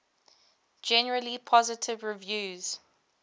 generally positive reviews